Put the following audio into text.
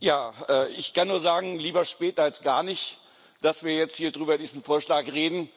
Ja, ich kann nur sagen Lieber spät als gar nicht, dass wir jetzt hier über diesen Vorschlag reden.